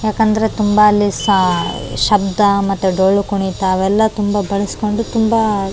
ಯಾಕಂದ್ರೆ ತುಂಬಾ ಅಲ್ಲಿ ಸಾ ಶಬ್ದ ಮತ್ತೆ ಡೊಳ್ಳು ಕುಣಿತ ಅವೆಲ್ಲ ತುಂಬಾ ಬಳ್ಸ್ಕೊಂಡು ತುಂಬಾ --